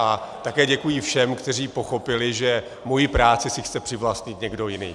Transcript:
A také děkuji všem, kteří pochopili, že mou práci si chce přivlastnit někdo jiný.